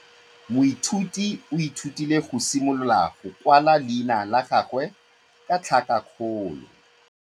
Moithuti o ithutile go simolola go kwala leina la gagwe ka tlhakakgolo.